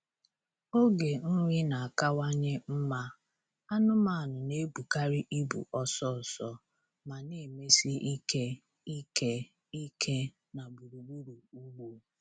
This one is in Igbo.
Oge nri na-akawanye mma, anụmanụ na-ebukarị ibu ọsọ ọsọ ma na-emesi ike ike ike na gburugburu ugbo.